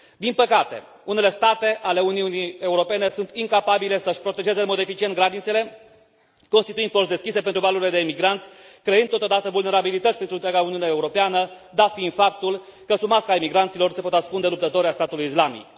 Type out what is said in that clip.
Din păcate, unele state ale Uniunii Europene sunt incapabile să și protejeze în mod eficient granițele, constituind porți deschise pentru valurile de migranți, creând totodată vulnerabilități pentru întreaga Uniune Europeană, dat fiind faptul că sub masca migranților se pot ascunde luptători ai statului islamic.